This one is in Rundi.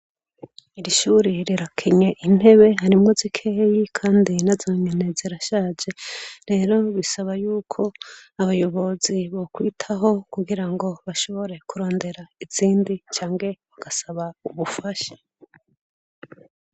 Iri hure rirakenye intebe harimwo zikeyi kandi nazonyene zirashaje, rero bisaba yuko abayobozi bokwitaho kugirango bashobora kurondera izindi canke bagasaba ubufasha.